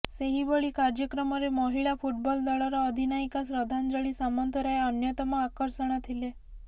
ସେହିଭଳି କାର୍ଯ୍ୟକ୍ରମରେ ମହିଳା ଫୁଟବଲ୍ ଦଳର ଅଧିନାୟିକା ଶ୍ରଦ୍ଧାଞ୍ଜଳି ସାମନ୍ତରାୟ ଅନ୍ୟତମ ଆକର୍ଷଣ ଥିଲେ